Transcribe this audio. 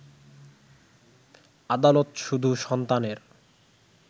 আদালত শুধু সন্তানের